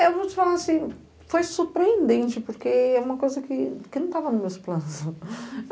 Eu vou te falar assim, foi surpreendente, porque é uma coisa que que não estava nos meus planos.